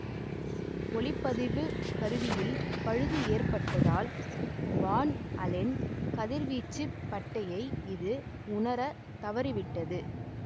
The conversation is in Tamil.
ஒலிப்பதிவுக் கருவியில் பழுது ஏற்பட்டதால் வான் அலென் கதிர்வீச்சுப் பட்டையை இது உணரத் தவறிவிட்டது